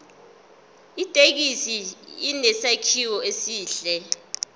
ithekisi inesakhiwo esihle